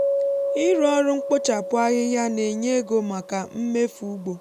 ịrụ ọrụ mkpochapụ ahịhịa na-enye ego maka mmefu ugbo